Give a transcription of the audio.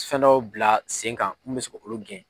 Fɛn dɔw bila sen kan mun bɛ se k'olu gɛn.